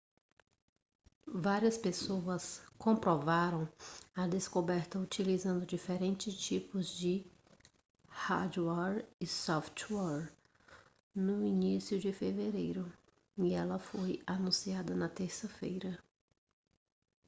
várias pessoas comprovaram a descoberta utilizando diferentes tipos de hardware e software no início de fevereiro e ela foi anunciada na terça-feira